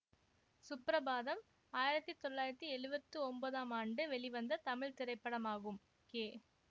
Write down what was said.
சுப்ரபாதம் ஆயிரத்தி தொள்ளாயிரத்தி எழுவத்தி ஒம்போதாம் ஆண்டு வெளிவந்த தமிழ் திரைப்படமாகும் கே